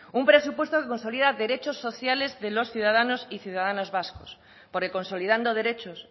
un presupuesto que consolida derechos sociales de los ciudadanos y ciudadanos vascos porque consolidando derechos